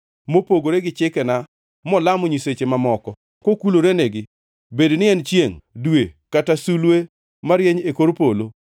mopogore gi chikena molamo nyiseche mamoko, kokulorenegi, bed ni en chiengʼ, dwe kata sulwe marieny e kor polo.